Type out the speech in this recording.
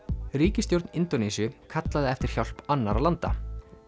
ríkisstjórn Indónesíu kallaði eftir hjálp annarra landa